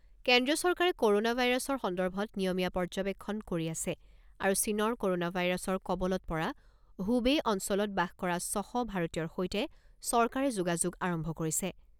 কেন্দ্ৰীয় চৰকাৰে ক'ৰোনা ভাইৰাছৰ সন্দৰ্ভত নিয়মীয়া পৰ্য্যবেক্ষণ কৰি আছে আৰু চীনৰ ক'ৰোনা ভাইৰাছৰ কৱলত পৰা হুবেই অঞ্চলত বাস কৰা ছশ ভাৰতীয়ৰ সৈতে চৰকাৰে যোগাযোগ আৰম্ভ কৰিছে।